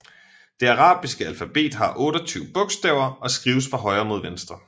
Det arabiske alfabet har 28 bogstaver og skrives fra højre mod venstre